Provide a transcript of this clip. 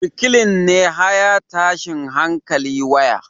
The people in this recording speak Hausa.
Reclean ne high tashin hankali waya